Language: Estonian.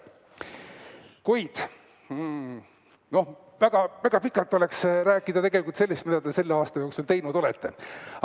Kuid väga-väga pikalt oleks rääkida sellest, mida te selle aasta jooksul teinud olete.